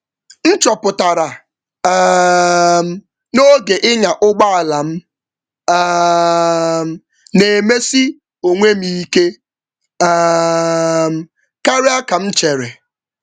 M chọpụtara n’oge ịnya ụgbọ ala na m na-akasi onwe m ike karịa ka m chere.